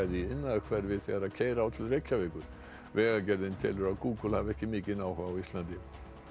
í iðnaðarhverfi þegar keyra á til Reykjavíkur vegagerðin telur að Google hafi ekki mikinn áhuga á Íslandi